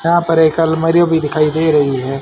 यहां पर एक अलमारी भी दिखाई दे रही है।